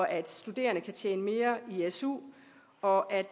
at studerende kan tjene mere i su og at